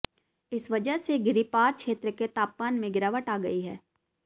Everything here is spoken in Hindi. इस वजह से गिरिपार क्षेत्र के तापमान में गिरावट आ गई है